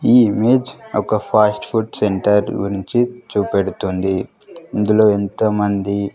ఈ ఇమేజ్ ఒక fast food centre గురించి చూపెడుతుంది ఇందులో ఎంతోమంది.